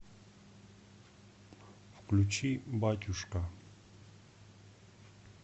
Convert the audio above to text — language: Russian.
включи батюшка